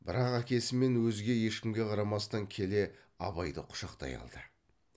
бірақ әкесі мен өзге ешкімге қарамастан келе абайды құшақтай алды